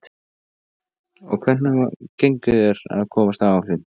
Páll: Og hvernig gengur þér að komast á áætlun?